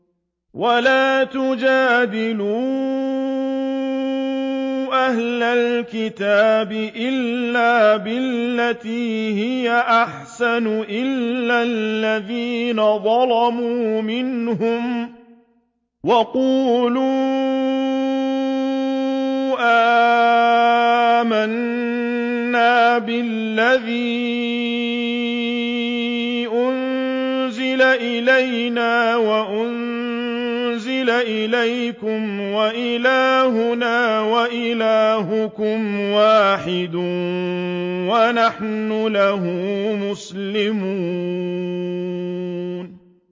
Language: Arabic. ۞ وَلَا تُجَادِلُوا أَهْلَ الْكِتَابِ إِلَّا بِالَّتِي هِيَ أَحْسَنُ إِلَّا الَّذِينَ ظَلَمُوا مِنْهُمْ ۖ وَقُولُوا آمَنَّا بِالَّذِي أُنزِلَ إِلَيْنَا وَأُنزِلَ إِلَيْكُمْ وَإِلَٰهُنَا وَإِلَٰهُكُمْ وَاحِدٌ وَنَحْنُ لَهُ مُسْلِمُونَ